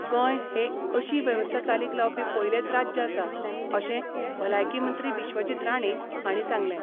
गोंय हे अशी व्यवस्था चालीक लावपी पयलेच राज्य आसा, अशें भलायकी मंत्री विश्वजीत राणे हांणी सांगले.